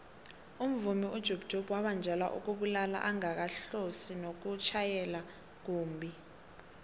umvumi ujub jub wabanjelwa ukubulala angakahlosi nokutjhayela kumbhi